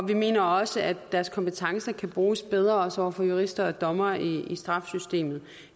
vi mener også at deres kompetencer kan bruges bedre også over for jurister og dommere i straffesystemet